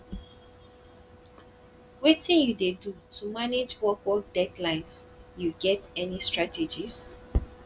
wetin you dey do to manage work work deadlines you get any strategies